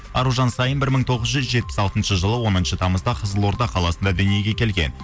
аружан саин бір мың тоғыз жүз жетпіс алтыншы жылы оныншы тамызда қызылорда қаласында дүниеге келген